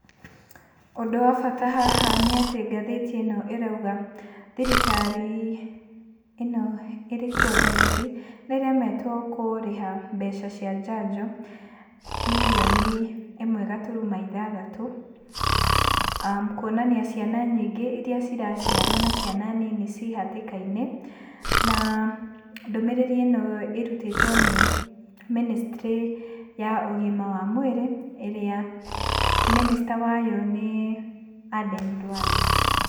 Ũndũ wa bata haha nĩatĩ ngathĩti ĩno ĩrauga thirikari ĩno ĩrĩ kuo thaici, nĩ ĩremetwo kũrĩha mbeca cia njanjo, birioni ĩmwe gaturuma ithathatũ, kuonania ciana nyingĩ iria ciraciarwo na ciana nini ci hatĩkainĩ, na ndũmĩrĩri-ino ĩrutĩtwo nĩ ministry ya ũgima wa mwĩrĩ, ĩrĩa minister wayo nĩ Adan Duale.